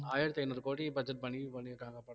ஆயிரத்தி ஐந்நூறு கோடி budget பண்ணி பண்ணியிருக்காங்க படத்தை